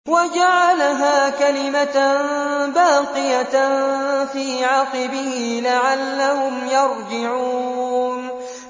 وَجَعَلَهَا كَلِمَةً بَاقِيَةً فِي عَقِبِهِ لَعَلَّهُمْ يَرْجِعُونَ